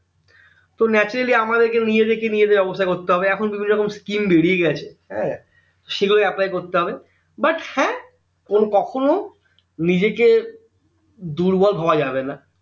তো naturally আমাদেরকে নিজেদেরকে নিজেদের ব্যবস্থা করতে হবে এখন বিভিন্ন scheme যখন বেরিয়ে গেছে হ্যাঁ সেগুলো apply করতে হবে but হ্যাঁ কোন কখনো নিজেকে দুর্বল ভাবা যাবে না